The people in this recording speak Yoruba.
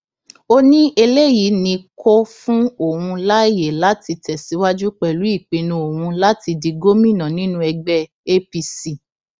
ó ní eléyìí ni kó fún òun láàyè láti tẹsíwájú pẹlú ìpinnu òun láti di gómìnà nínú ẹgbẹ apc